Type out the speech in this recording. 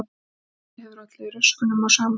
Veðrið hefur ollið röskunum á samgöngum